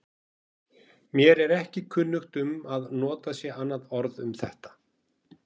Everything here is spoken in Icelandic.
Mér er ekki kunnugt um að notað sé annað orð um þetta.